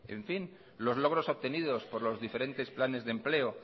en fin lo logros obtenidos por los diferentes planes de empleo